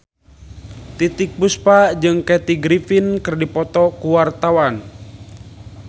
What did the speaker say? Titiek Puspa jeung Kathy Griffin keur dipoto ku wartawan